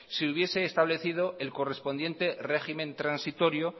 se hubiese establecido el correspondiente régimen transitorio